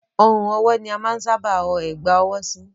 Ọrùn ọwọ́ ni a máa n sábà ọ Ẹ̀gbá ọwọ́ sí